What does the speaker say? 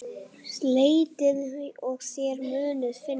Leitið og þér munuð finna!